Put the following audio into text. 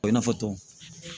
I n'a fɔ tɔn